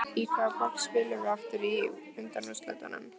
Bíddu, í hvaða borg spilum við aftur í undanúrslitunum?